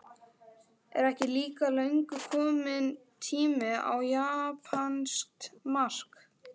Er ekki líka löngu kominn tími á japanskt mark?